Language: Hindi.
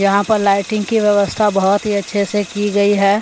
यहाँ पर लाइटिंग की व्यवस्था बहुत ही अच्छे से की गई है।